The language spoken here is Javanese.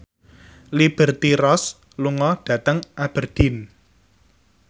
Liberty Ross lunga dhateng Aberdeen